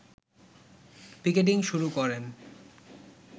picketing শুরু করেন